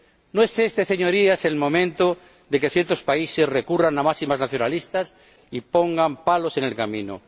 No es este, Señorías, el momento de que ciertos países recurran a máximas nacionalistas y pongan palos en el camino.